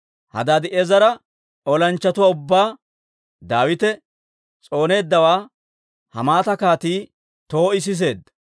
Hadaadi'eezera olanchchatuwaa ubbaa Daawite s'ooneeddawaa Hamaata Kaatii Too'i siseedda.